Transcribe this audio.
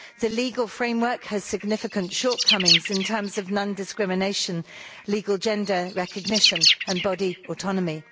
The legal framework has significant shortcomings in terms of non discrimination, legal gender recognition and body autonomy.